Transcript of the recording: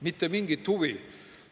Mitte mingit huvi!